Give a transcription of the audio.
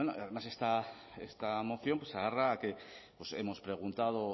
además esta moción se agarra a que hemos preguntado